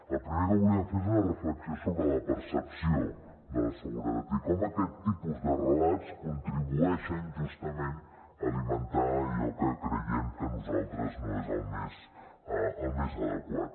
el primer que volíem fer és una reflexió sobre la percepció de seguretat i com aquest tipus de relats contribueixen justament a alimentar allò que creiem nosaltres que no és el més adequat